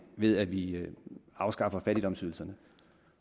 ved at vi afskaffer fattigdomsydelserne